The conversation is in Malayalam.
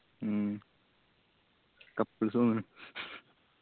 മ്മ് couples ആ തോന്നണ്